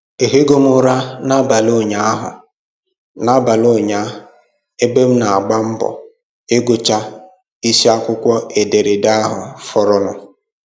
Ehighị m ụra n'abalị ụnyahụ n'abalị ụnyahụ ebe m na-agba mbọ ịgụcha isi akwụkwọ ederede ahụ fọrọnụ